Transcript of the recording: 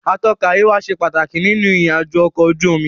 Atọ́ka àríwá ṣe pàtàkì nínú ìrìn àjò ọ̀kọ̀ ojú omi.